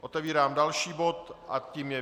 Otevírám další bod a tím je